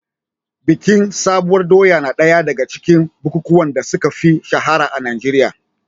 Bikin sabuwar doya na ɗaya daga cikin bukukuwan da suka fi shahara a Najeriya.